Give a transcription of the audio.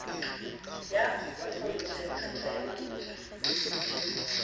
ya tlotlontswe kgetho ya mantswe